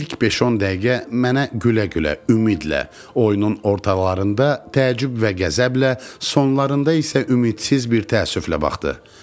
İlk 5-10 dəqiqə mənə gülə-gülə, ümidlə, oyunun ortalarında təəccüb və qəzəblə, sonlarında isə ümidsiz bir təəssüflə baxdı.